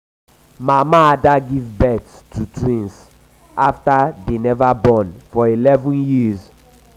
mama ada give both to twins after dey never born for eleven years.